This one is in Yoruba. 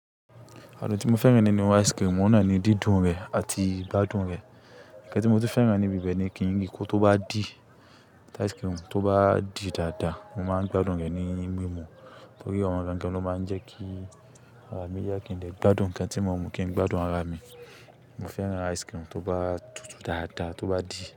Àrùn tí mo fẹ́ràn nínú ice cream, mò ń ràn ni dídùn rẹ̀ àti gbádùn rẹ̀. Ǹkan tí mo ti fẹ́ràn níbi bẹ̀ ni kí ri kò tó bá di ti ice cream tó bá di dáadáa, mo máa ń gbádùn rẹ̀ ní mímú. Nítorí ọ̀wun gangan ló máa ń jẹ́ kí ara mi yá kí n dè gbádùn ǹkan tí mo mú kí n gbádùn ara mi. Mo fẹ́ràn ice cream tó bá tutù dáadáa, tó bá di.